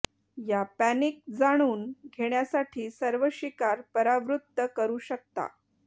या पॅनिक जाणून घेण्यासाठी सर्व शिकार परावृत्त करू शकता